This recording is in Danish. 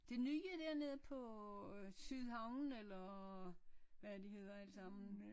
Det nye dernede på øh Sydhavnen eller hvad de hedder alle sammen